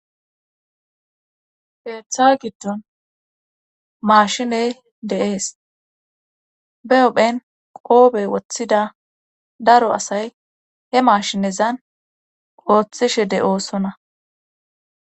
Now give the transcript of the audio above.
keeththa giddon maashiney de7ees be ophen qoobey woththida daro asay he maashinezan ooththishe de7oosonna